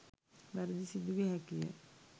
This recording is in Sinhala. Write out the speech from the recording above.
වැරැදි සිදුවිය හැකි ය.